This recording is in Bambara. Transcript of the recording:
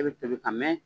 E bɛ tobi ka mɛn